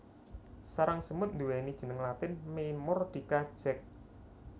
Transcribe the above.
Sarang semut nduweni jeneng latin Memordica Jack